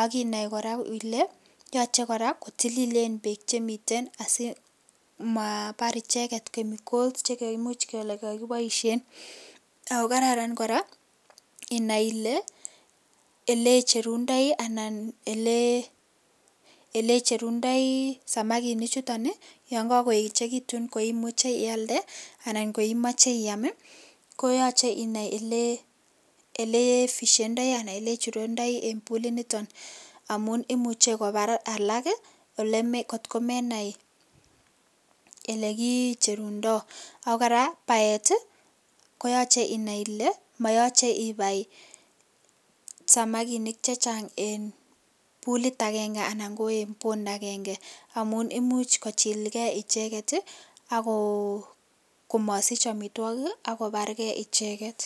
akinai kora ile yoche kora kotililen peek chemiten asimapar icheket ko chikaimuch kekakiboisien ako kararan kora inai ole icherundoi samakinik chuton yon kakoechekitum ko imucheiialde anan ko imache iam koyachei inai ole ifishendai anan icherundoi en puliniton amun imuchei kobar alak kotkomenai olekicherundoi akokora beat koyochei inai kole mayachei ibai samakinik chechang eng pulit agenge ana eng pond agenge amun imuch kochilke icheget akomasich amitwokik akobargei icheget